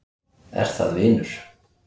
Er það vinur